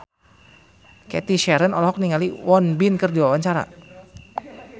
Cathy Sharon olohok ningali Won Bin keur diwawancara